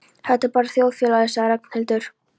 Þetta er bara þjóðfélagið sagði Ragnhildur.